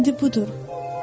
İndi budur.